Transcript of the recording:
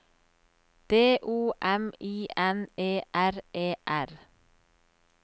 D O M I N E R E R